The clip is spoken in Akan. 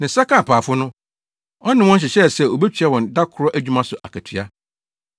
Ne nsa kaa apaafo no, ɔne wɔn hyehyɛɛ sɛ obetua wɔn da koro adwuma so akatua.